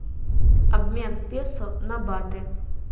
обмен песо на баты